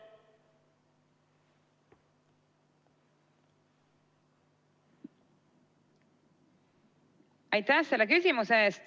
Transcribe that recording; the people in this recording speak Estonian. Aitäh selle küsimuse eest!